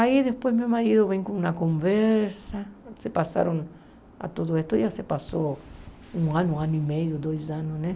Aí depois meu marido vem com uma conversa, se passaram a tudo isso, já se passou um ano, um ano e meio, dois anos, né?